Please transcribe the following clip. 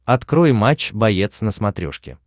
открой матч боец на смотрешке